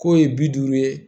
K'o ye bi duuru ye